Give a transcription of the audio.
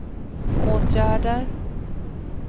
åtgärder